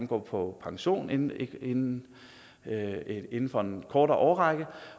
går på pension inden inden for en kortere årrække